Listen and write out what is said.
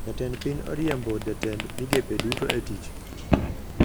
Jatend piny oriembo jotend migepe duto e tich